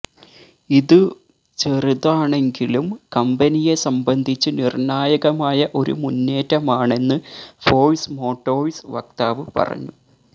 ഇത് ചെറുതാണെങ്കിലും കമ്പനിയെ സംബന്ധിച്ച് നിർണായകമായ ഒരു മുന്നേറ്റമാണെന്ന് ഫോഴ്സ് മോട്ടോഴ്സ് വക്താവ് പറഞ്ഞു